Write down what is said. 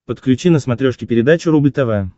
подключи на смотрешке передачу рубль тв